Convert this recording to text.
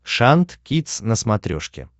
шант кидс на смотрешке